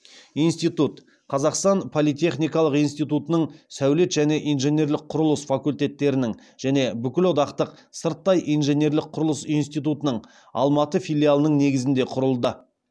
институт қазақтың политехникалық институтының сәулет және инженерлік құрылыс факультеттерінің және бүкілодақтық сырттай инженерлік құрылыс институтының алматы филиалының негізінде құрылды